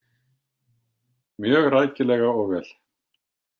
Mjög rækilega og vel.